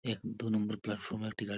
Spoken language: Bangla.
এক দু নম্বর প্ল্যাটফর্ম -এ একটি গা--